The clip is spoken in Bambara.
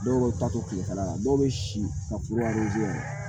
Dɔw bɛ taa to kilekala la dɔw bɛ si ka kuru jiyan